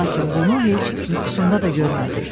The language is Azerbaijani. Lakin bunu heç yuxusunda da görmədi.